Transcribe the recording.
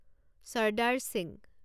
Sardar Singh